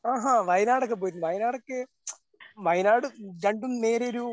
ആഹാ വയനാടൊക്കെ പോയിട്ടുണ്ടോ? വയനാടൊക്കെ വയനാട് രണ്ടും നേരിയൊരു